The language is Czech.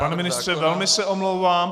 Pane ministře, velmi se omlouvám.